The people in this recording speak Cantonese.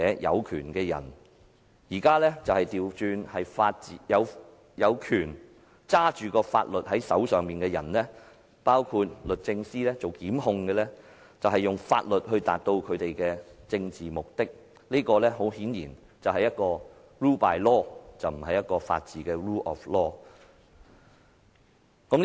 然而，現在卻倒轉過來，由一些掌管法律的人——包括由律政司作出檢控——用法律來達致其政治目的，這顯然是 rule by law， 而不是法治 ——rule of law。